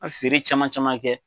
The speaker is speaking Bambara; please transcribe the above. feere caman caman kɛ.